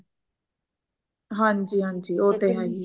ਹਾਂਜੀ ਹਾਂਜੀ ਉਹ ਤੇ ਹੈ ਹੀਐ